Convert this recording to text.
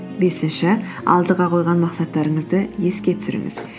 бесінші алдыға қойған мақсаттарыңызды еске түсіріңіз